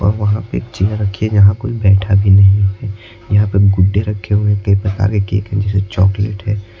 वहां पे चेयर रखी हुई है जहां कोई बैठा भी नहीं है यहां पे गुड्डे रखे हुए हैं टेबल पर कई प्रकार के केक है चॉकलेट है।